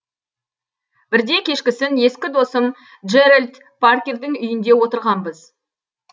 бірде кешкісін ескі досым джеральд паркердің үйінде отырғанбыз